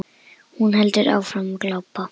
Hún heldur áfram að glápa.